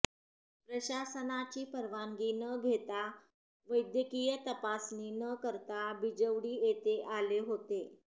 प्रशासनाची परवानगी न घेता व वैद्यकीय तपासणी न करता बिजवडी येथे आले होते